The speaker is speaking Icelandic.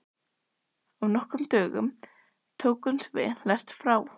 Á nokkrum dögum tókum við lest frá